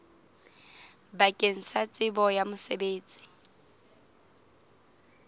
bakeng la tsebo ya mosebetsi